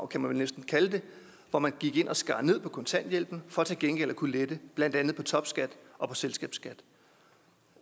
kan man vel næsten kalde det hvor man gik ind og skar ned på kontanthjælpen for til gengæld at kunne lette blandt andet på topskat og på selskabsskat